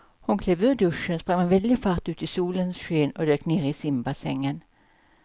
Hon klev ur duschen, sprang med väldig fart ut i solens sken och dök ner i simbassängen.